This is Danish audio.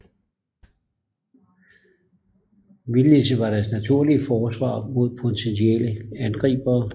Vildnisset var deres naturlige forsvar mod potentielle angribere